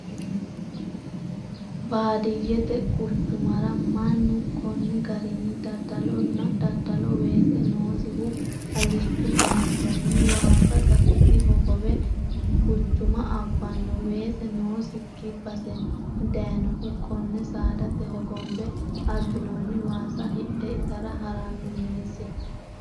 Baadiyyete quchumara mannu koni garini daddalano daddalo ,weese noosihu alichu baattoni waasa gatisi hogowe guchuma abbano weese noosikki baseni dayinohu kone saadate hogombe abbinoni waasa hidhe itara harano minisira.